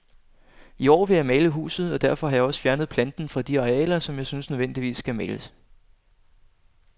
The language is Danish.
I år vil jeg male huset, og derfor har jeg også fjernet planten fra de arealer, som jeg synes nødvendigvis skal males.